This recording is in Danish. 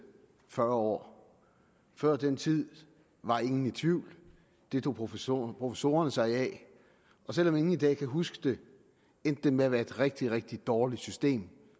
fyrre år før den tid var ingen i tvivl det tog professorerne professorerne sig af selv om ingen i dag kan huske det endte det med at være et rigtig rigtig dårligt system